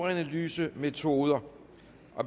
analysemetoder